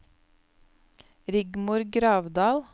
Rigmor Gravdal